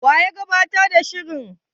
Wa ya gabatar da shirin?